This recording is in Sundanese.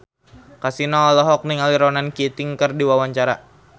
Kasino olohok ningali Ronan Keating keur diwawancara